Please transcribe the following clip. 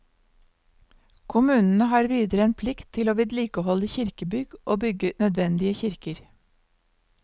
Kommunene har videre en plikt til å vedlikeholde kirkebygg og bygge nødvendige kirker.